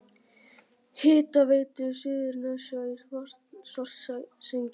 Hitaveitu Suðurnesja í Svartsengi.